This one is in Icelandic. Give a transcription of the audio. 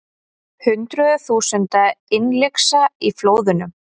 Hundruð þúsunda innlyksa í flóðunum